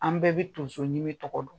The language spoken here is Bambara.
An bɛɛ bɛ tonsoɲimi tɔgɔ dɔn.